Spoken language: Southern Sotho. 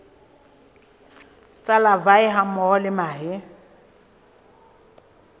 tsa larvae hammoho le mahe